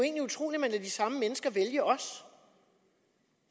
samme mennesker vælge os